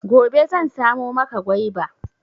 Gobe zan samo maka gwaiba.